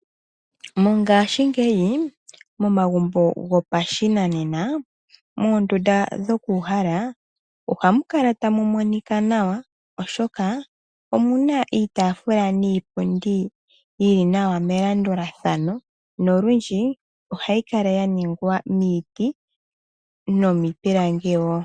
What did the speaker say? Mongaashingeyi momagumbo gopashinanena moondunda dho ku uhala oha mu kala tamu monika nawa, oshoka omu na iitafula niipundi yi li nawa melandulathano. Ohayi kala ya ningwa miiti nomiipilangi wo.